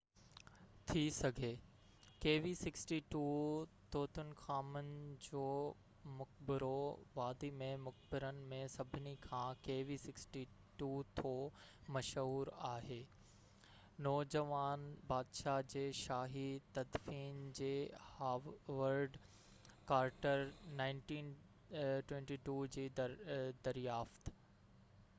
Tutankhamun جو مقبرو kv62. ٿي سگهي ٿو kv62 وادي ۾ مقبرن ۾ سڀني کان مشهور آهي. نوجوان بادشاه جي شاهي تدفين جي هاورڊ ڪارٽر 1922 جي دريافت